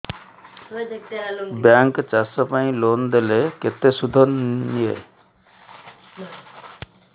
bank ଚାଷ ପାଇଁ loan ଦେଲେ କେତେ ସୁଧ ନିଏ